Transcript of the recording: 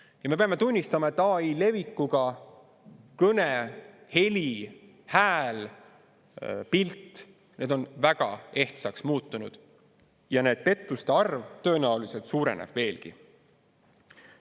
Ja me peame tunnistama, et AI levikuga on kõne, heli, hääl, pilt väga ehtsaks muutunud ja pettuste arv tõenäoliselt suureneb veelgi.